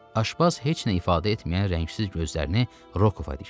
Aşpaz heç nə ifadə etməyən rəngsiz gözlərini Rokova dikdi.